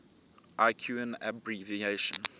l cuin abbr